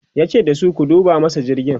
yace dasu "ku duba masa jirgin!'